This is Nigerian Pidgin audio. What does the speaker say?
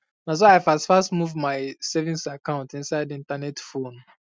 na so i fast fast move my savings account inside internet phone